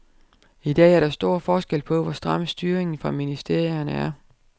I dag er der stor forskel på, hvor stram styringen fra ministerierne er.